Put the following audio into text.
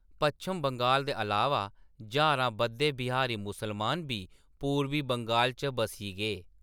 पच्छम-बंगाल दे अलावा, ज्हारां बद्दे बिहारी मुसलमान बी पूरबी बंगाल च बस्सी गे।